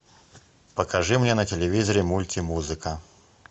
покажи мне на телевизоре мультимузыка